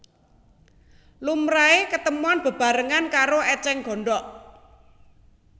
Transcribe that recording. Lumrahé ketemon bebarengan karo ècèng gondhok